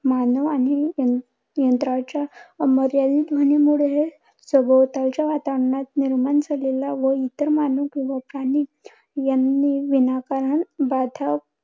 मानव आणि अं यंत्राच्या अमर्यादित ध्वनीमुळे, सभोवतालच्या वातावरणात निर्माण झालेला व इतर मानव किंवा प्राणी यांनी विनाकारण बाधा